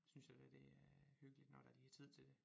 Synes jeg da det er hyggeligt når der lige er tid til det